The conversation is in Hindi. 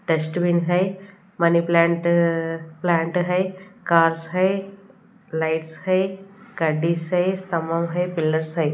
डस्टबिन है मनी प्लांट अ प्लांट है कार्स है लाइट्स है गद्दीश है समाे है पिलर्स है।